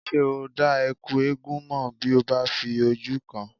Ṣé o dá Ẹ̀kú eégún mọ̀ bí ó bá fi ojú kàn án?